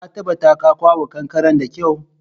Ka tabatar ka kwaɓa kankaren da kyau!